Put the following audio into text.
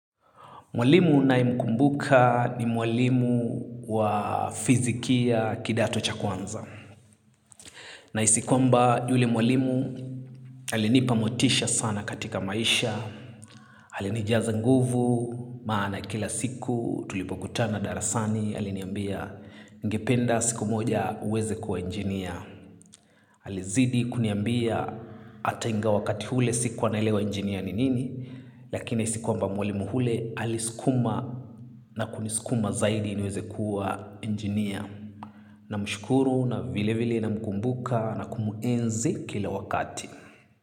Mwalimu ninayemkumbuka ni mwalimu wa fizikia kidato cha kwanza. Nahisi kwamba yule mwalimu alinipa motisha sana katika maisha. Alinijiaza nguvu maana kila siku tulipokutana darasani aliniambia ningependa siku moja uweze kuwa injinia. Alizidi kuniambia hata ingawa wakati ule sikuwa naelewa engineer ni nini. Lakini si kuwa mwalimu ule aliskuma na kuniskuma zaidi niweze kuwa engineer. Namshukuru na vile vile namkumbuka nakumuenzi kila wakati.